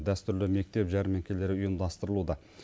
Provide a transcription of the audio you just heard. дәстүрлі мектеп жәрмеңкелері ұйымдастырылуда